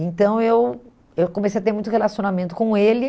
Então, eu eu comecei a ter muito relacionamento com ele.